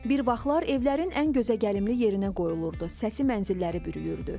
Bir vaxtlar evlərin ən gözəgəlimli yerinə qoyulurdu, səsi mənzilləri bürüyürdü.